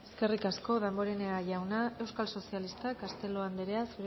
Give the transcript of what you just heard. eskerrik asko damborenea jauna euskal sozialistak castelo andrea